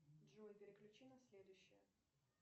джой переключи на следующее